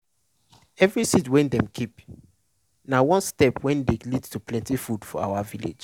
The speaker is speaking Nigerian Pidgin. every seed wey dem keep na one step wey dey lead to plenti food for our village.